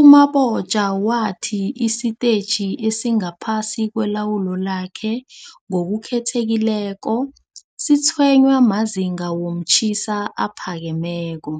U-Mabotja wathi isitetjhi esingaphasi kwelawulo lakhe, ngokukhethekileko, sitshwenywa mazinga womtjhiso aphakemeko.